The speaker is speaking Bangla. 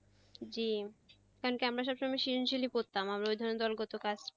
জি কারনকি আমরা সবসময় করতাম আমরা ওইধরনের দলবদ্ধ কাজ,